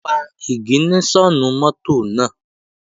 Pa ìgìníṣọ̀nù mọ́tò náà!